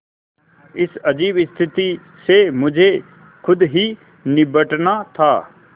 इस अजीब स्थिति से मुझे खुद ही निबटना था